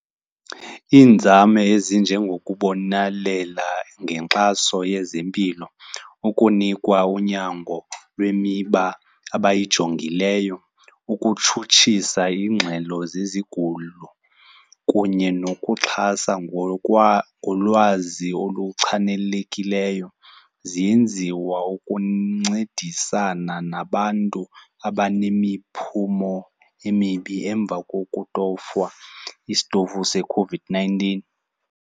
Iinzame ezinjengokubonalela ngenkxaso yezempilo, ukunikwa unyango lwemiba abayijongileyo, ukutshutshisa ingxelo zezigulo kunye nokuxhasa ngolwazi oluchanekileyo ziyenziwa ukuncedisana nabantu abanemiphumo emibi emva kokutofwa isitovu seCOVID-nineteen.